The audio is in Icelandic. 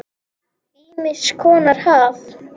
Ýmiss konar haf.